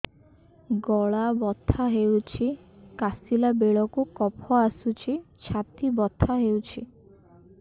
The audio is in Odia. ଗଳା ବଥା ହେଊଛି କାଶିଲା ବେଳକୁ କଫ ଆସୁଛି ଛାତି ବଥା ହେଉଛି